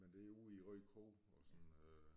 Men det er ude i Rødekro og sådan øh